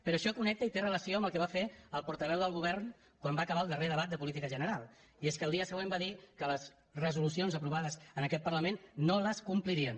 però això connecta i té relació amb el que va fer el portaveu del govern quan va acabar el darrer debat de política general i és que el dia següent va dir que les resolucions aprovades en aquest parlament no les complirien